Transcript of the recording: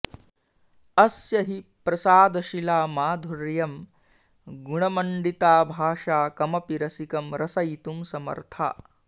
अस्य हि प्रसादशिला माधुर्यं गुणमण्डिता भाषा कमपि रसिकं रसयितुं समर्था